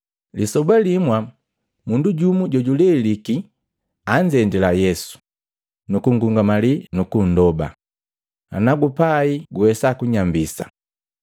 Lisoba limwa mundu jumu jojuleliki anzendila Yesu, nukungungamali nukundoba, “Nagupai guwesa kunyambisa!”